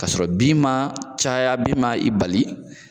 Ka sɔrɔ bin man caya bin ma i bali